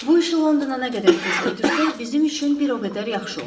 Bu işi Londona nə qədər tez ötürsək, bizim üçün bir o qədər yaxşı olar.